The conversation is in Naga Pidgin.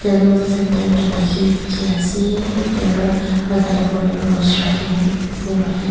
table centre dey thaki dikhi ase iteraaro taila opor tey rose rakhine phool rakhine--